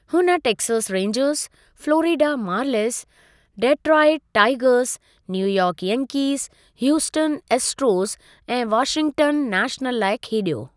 हुन Texas Rangers, Florida Marlins, Detroit Tigers, New York Yankees, Houston Astros ऐं Washington National लाइ खेॾियो।